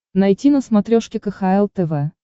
найти на смотрешке кхл тв